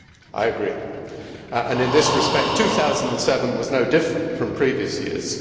I agree, and in this respect, 2007 was no different from previous years.